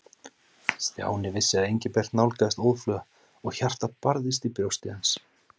Stjáni vissi að Engilbert nálgaðist óðfluga og hjartað barðist í brjósti hans.